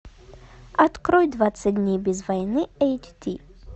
открой двадцать дней без войны эйч ди